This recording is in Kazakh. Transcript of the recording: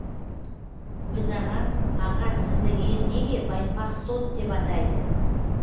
өзағаң аға сізді ел неге байпақ сот деп атайды